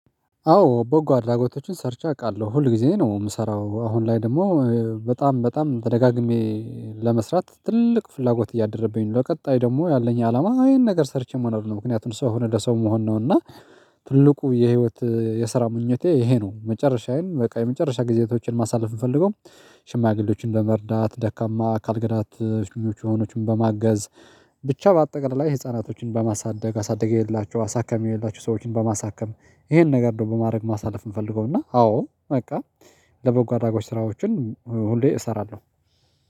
አዎ ቦጎ አድራጎቶችን ሰርቼ አውቃለሁ ሁል ጊዜ ነው የምሰራው አሁን ላይ ደግሞ በጣም በጣም ተደጋግሜ ለመስራት ትልቅ ፍላጎት እያደረብኝ ነው። ለቀጣይ ደግሞ ያለኝ አላማ ይሄን ነገር ሰርቼ መኖር ነው። ምክንያቱም ሰው የሆነ ለሰው መሆን ነው። እና ትልቁ የህይወት የስራ ምኞቴ ይሄ ነው። መጨረሻዬን በቃ የመጨረሻ ጊዜያቶችን ማሳለፍ የምፈልገው። ሽማግሌዎችን በመርዳት ደካማ አካል ጉዳት የሆኑትን በማገዝ። ብቻ በአጠቃላይ ህፃናቶችን በማሳደግ አሳድጌላቸው አሳክሜላቸው ሰዎችን በማሳከም ይሄን ነገር ነው በማድረግ ማሳለፍ የምፈልገው። እና አዎ በቃ ለበጎ አድራጎት ስራዎችን ሁሌ እሰራለሁ